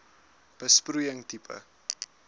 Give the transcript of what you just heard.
besproeiing tipe